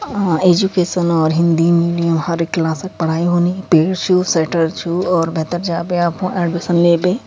अ education और Hindi medium हर क्लासक पढ़ाई हूनी पेड़ शु शटर छू और भेतर जा बे आप खुण एडमिशन ले बे।